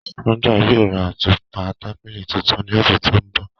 Sandra yóò rá àtupa tàbílí tuntùn ni ọsẹ tó nbọ̀.